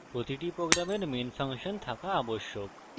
প্রতিটি প্রোগ্রামের একটি মেন ফাংশন থাকা আবশ্যক